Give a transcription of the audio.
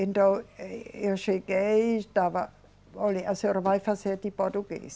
Então, eh, eu cheguei e estava. Olhe, a senhora vai fazer de português.